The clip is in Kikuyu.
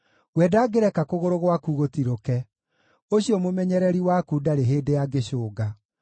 We ndangĩreka kũgũrũ gwaku gũtirũke: ũcio mũmenyereri waku ndarĩ hĩndĩ angĩcũnga;